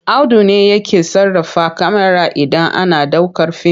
Auda ne yake sarrafa kyamara idan ana ɗaukar fim.